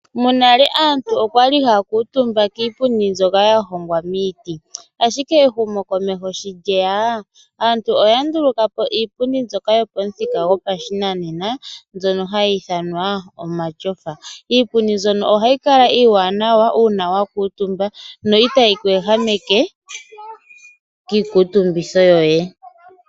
Monale aantu okwali haya kuutumba kiipundi mbyoka ya hongwa miiti. Ashike ehumo komeho sho lyeya aantu oya ndulukapo iipundi mbyoka yopashinanena mbyono hayi ithanwa omatyofa. Ohayi kala tayi monika nawa uuna wa kuutumba ko no itayi ku ehameke kiikutumbitho yoye.